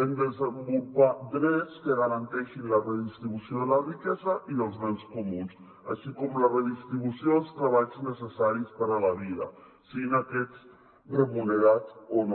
hem de desenvolupar drets que garanteixin la redistribució de la riquesa i dels béns comuns així com la redistribució dels treballs necessaris per a la vida siguin aquests remunerats o no